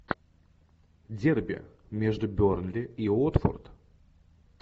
дерби между бернли и уотфорд